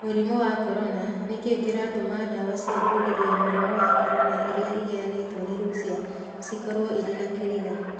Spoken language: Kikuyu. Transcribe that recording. Mũrimũ wa Corona: Nĩ kĩĩ kĩratũma ndawa cia kũgiria mũrimũ wa corona irĩa iheanĩtwo nĩ Russia cikorũo irĩ na kĩriga?